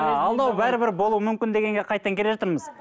ы алдау бәрібір болуы мүмкін дегенге қайтадан келе жатырмыз